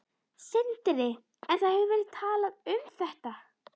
Sindri: En það hefur verið talað um þetta?